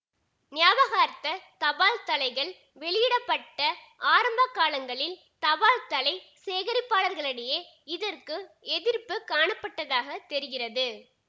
ஞாபகார்த்த தபால்தலைகள் வெளியிட பட்ட ஆரம்பகாலங்களில் தபால்தலை சேகரிப்பாளர்களிடையே இதற்கு எதிர்ப்பு காணப்பட்டதாகத் தெரிகிறது